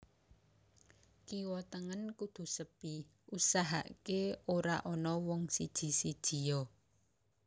Kiwa tengen kudu sepi usahaaké ora ana wong siji sijia